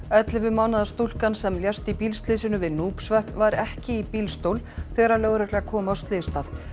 ellefu mánaða stúlkan sem lést í bílslysinu við var ekki í bílstól þegar lögregla kom á slysstað